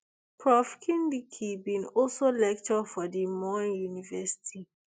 prof kindiki bin also lecture for di moi university